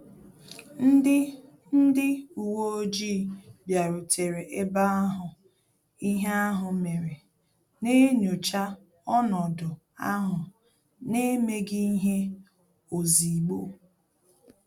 Ndị Ndị uwe ojii bịarutere eba ahụ ihe ahụ mere, na-enyocha ọnọdụ ahụ n'emeghi ihe ozigbo